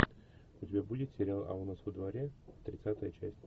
у тебя будет сериал а у нас во дворе тридцатая часть